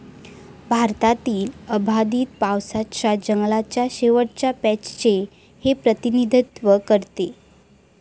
भारतातील अबाधित पावसाच्या जंगलाच्या शेवटच्या पॅचचे हे प्रतिनिधित्व करते.